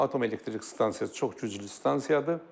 Atom elektrik stansiyası çox güclü stansiyadır.